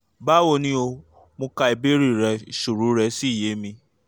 báwo ni o? mo ka ìbéèrè rẹ ìṣòro rẹ́ sì yé mi